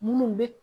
Minnu bɛ